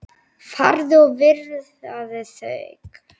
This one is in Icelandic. Farðu og viðraðu þig